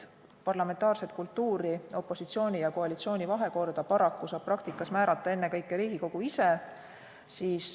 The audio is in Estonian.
Parlamentaarset kultuuri, opositsiooni ja koalitsiooni vahekorda saab paraku praktikas määrata ennekõike Riigikogu ise.